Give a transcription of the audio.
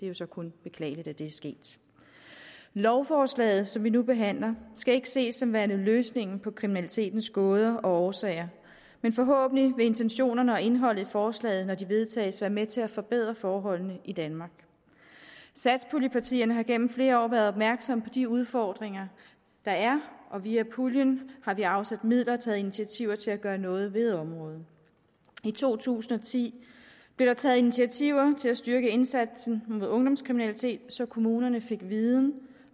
jo så kun beklageligt at det er sket lovforslaget som vi nu behandler skal ikke ses som værende løsningen på kriminalitetens gåder og årsager men forhåbentlig vil intentionerne og indholdet i forslaget når det vedtages være med til at forbedre forholdene i danmark satspuljepartierne har igennem flere år været opmærksomme på de udfordringer der er og via puljen har vi afsat midler og taget initiativer til at gøre noget ved området i to tusind og ti blev der taget initiativer til at styrke indsatsen mod ungdomskriminalitet så kommunerne fik viden